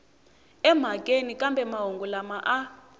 emhakeni kambe mahungu lama a